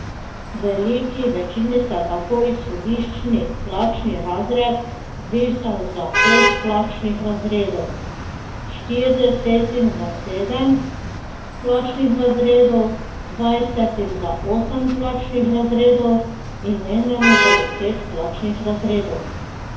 Veliki večini se je tako izhodiščni plačni razred zvišal za pet plačnih razredov, štiridesetim za sedem plačnih razredov, dvajsetim za osem plačnih razredov in enemu za deset plačnih razredov.